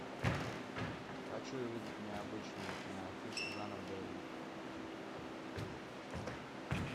хочу увидеть необычную киноафишу жанр боевик